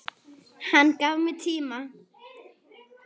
Hann gaf mér tíma.